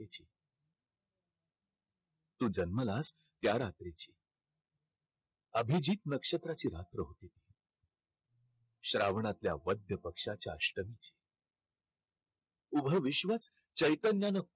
तू जन्मलास त्या रात्रीची अभिजीत नक्षत्राची रात्र होती. श्रावणातल्या वद्य पक्षाच्या अष्टमीची उभं विश्वच चैतन्यानं